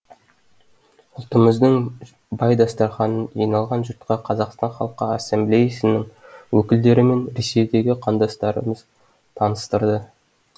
ұлтымыздың бай дастарханын жиналған жұртқа қазақстан халқы ассамблеясының өкілдері мен ресейдегі қандастарымыз таныстырды